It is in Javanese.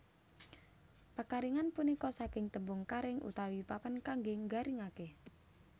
Pekaringan punika saking tembung karing utawi papan kangge nggaringaken